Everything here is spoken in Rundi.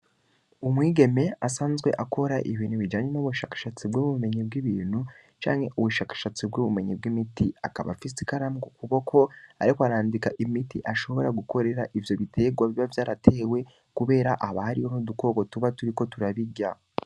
Umwigeme, asanzwe akora ibintu bijanye n'ubushakashatsi bw'ubumenyi bw'ibintu, canke ubushakashatsi bw'ubumenyi bw'imiti; akaba afise ikaramu ku kuboko, ariko arandika imiti ashobora gukorera ivyo biterwa biba vyaratewe, kubera haba hariho n'udukoko tuba turiko turabirya.